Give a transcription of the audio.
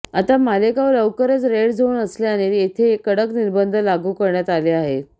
आता मालेगाव लवकरच red zone असल्याने येथे कडक निर्बंध लागू करण्यात आले आहेत